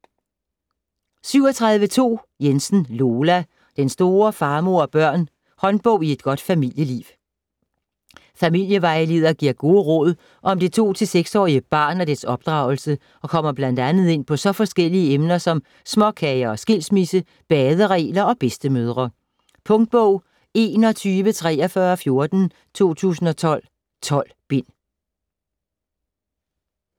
37.2 Jensen, Lola: Den store Far, mor & børn: håndbog i godt familieliv Familievejleder giver gode råd om det 2-6 årige barn og dets opdragelse og kommer bl.a. ind på så forskellige emner som småkager og skilsmisse, baderegler og bedstemødre. Punktbog 412314 2012. 12 bind.